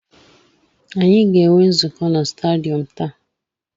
Anyị ga-enwe nzukọ na stadiyọm taa.